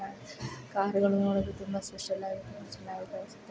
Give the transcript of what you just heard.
ಕಾರುಗಳು ನೋಡಲು ತುಂಬಾ ಸ್ಪೆಷಲ್ ಆಗಿ ಚೆನ್ನಾಗಿ ಕಾಣಿಸುತ್ತಾ ಇದೆ.